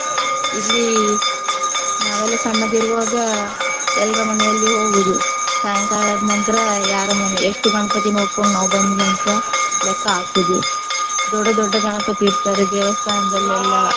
ಇಲ್ಲಿ ನಾವೆಲ್ಲ ಸಣ್ಣದಿರುವಾಗ ಎಲ್ರ ಮನೆಯಲ್ಲಿ ಹೋಗುವುದು. ಸಾಯಂಕಾಲ ಆದ್ ನಂತರ ಯಾರ ಮನೆ ಎಷ್ಟು ಗಣಪತಿ ನೋಡ್ಕೊಂಡು ನಾವು ಬಂದ್ವಿ ಅಂತ ಲೆಕ್ಕ ಹಾಕುವುದು. ದೊಡ್ಡ ದೊಡ್ಡ ಗಣಪತಿ ಇಡ್ತಾರೆ ದೇವಸ್ಥಾನದಲ್ಲಿ ಎಲ್ಲಾ.